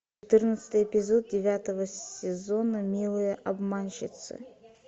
четырнадцатый эпизод девятого сезона милые обманщицы